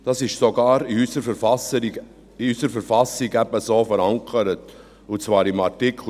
Das ist sogar in unserer Verfassung so verankert, und zwar in Artikel 43.